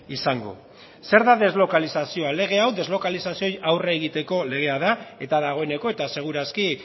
izango zer da deslokalizazioa lege hau deslokalizazioei aurre egiteko legea da eta dagoeneko eta segur aski